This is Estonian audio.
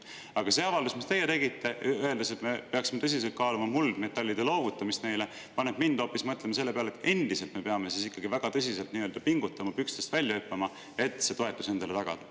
Aga see avaldus, mis teie tegite, öeldes, et me peaksime tõsiselt kaaluma muldmetallide loovutamist neile, paneb mind mõtlema selle peale, et me peame endiselt ikkagi väga tõsiselt pingutama, pükstest välja hüppama, et see toetus endale tagada.